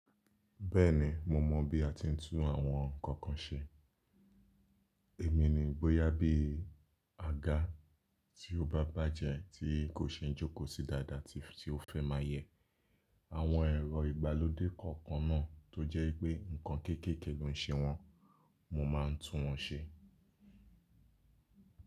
Bẹ́ẹ̀ni, mo mọ̀ bí a ti ń tún àwọn ǹkan kan ṣe. Èmi ni bóyà bí aga tí ó bá bájẹ̀ tí kò ṣeé jókòó sí dáadáa tí ó fẹ́ máa yẹ. Àwọn ẹ̀rọ ìgbàlódé kọ̀ọ̀kan náà tó jẹ́ wipé ǹkan kéékèèké ló ń ṣe wọn, mo máa ń tún wọn ṣe.